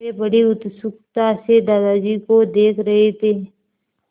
वे बड़ी उत्सुकता से दादाजी को देख रहे थे